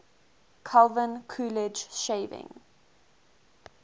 calvin coolidge shaving